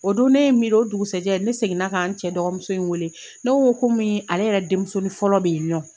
O don ne ye n miiri o dugusɛjɛ ne seginna ka n cɛ dɔgɔmuso in wele ne ko ko komi ale yɛrɛ den musonin fɔlɔ bɛ yen nɔ.